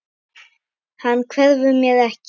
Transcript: Hann hverfur mér ekki.